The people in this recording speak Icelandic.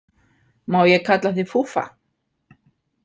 Má ég kalla þig Fúffa?